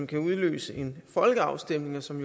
kan udløse en folkeafstemning som